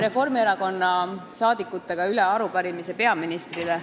Reformierakonna saadikud annavad üle arupärimise peaministrile.